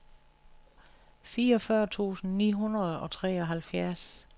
fireogfyrre tusind ni hundrede og treoghalvfjerds